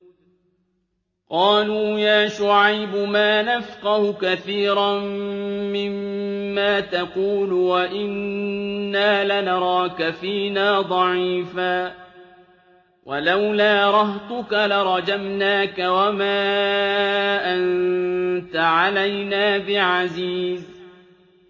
قَالُوا يَا شُعَيْبُ مَا نَفْقَهُ كَثِيرًا مِّمَّا تَقُولُ وَإِنَّا لَنَرَاكَ فِينَا ضَعِيفًا ۖ وَلَوْلَا رَهْطُكَ لَرَجَمْنَاكَ ۖ وَمَا أَنتَ عَلَيْنَا بِعَزِيزٍ